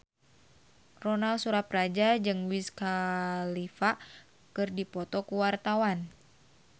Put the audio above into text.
Ronal Surapradja jeung Wiz Khalifa keur dipoto ku wartawan